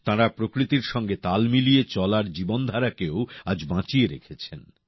তাঁরা প্রকৃতির সঙ্গে তাল মিলিয়ে চলার জীবনধারাকে আজও বাঁচিয়ে রেখেছেন